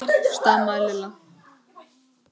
stamaði Lilla.